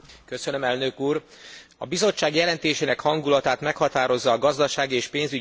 A Bizottság jelentésének hangulatát meghatározza a gazdasági és pénzügyi válság okozta helyzet.